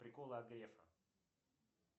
приколы от грефа